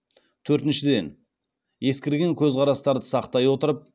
төртіншіден ескірген көзқарастарды сақтай отырып